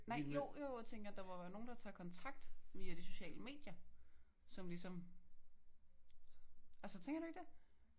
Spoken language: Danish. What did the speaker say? Nej jo jo jeg tænker der må jo være nogen der tager kontakt via de sociale medier som ligesom altså tænker du ikke det?